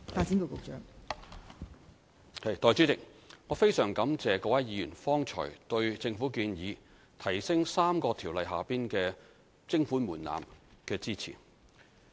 代理主席，我非常感謝各位議員剛才對政府建議提高3項條例下的徵款門檻的支持。